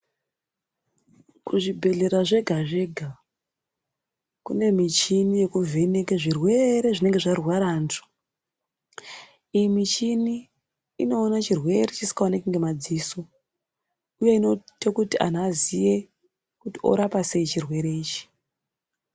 Kuzvibhedhelera zvega zvega kune mishini yekuvheneke zvirwere zvinenge zvarwara antu, iyi mishini inoona chirwere chisingaoneki ngemadziso uye inoita kuti anhu aziye kuti orapa sei chirwere ichi.